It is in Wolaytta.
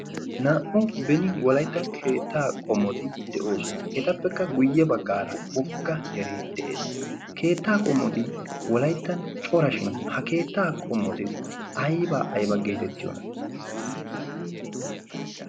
Naa'u benin wolaytta keetta qomoti de'oosona. Etappekka guyye baggaara wogga deree de'ees. Keettaa qommoti wolayttan cora shin ha keettaa qommoti aybaa ayba geetettiyoona?